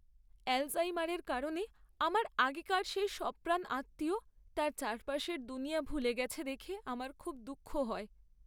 অ্যালঝাইমারের কারণে আমার আগেকার সেই সপ্রাণ আত্মীয় তার চারপাশের দুনিয়া ভুলে গেছে দেখে আমার খুব দুঃখ হয়।